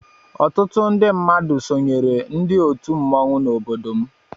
Ọtụtụ ndị mmadụ sonyeere ndị otu mmọnwụ n'obodo m.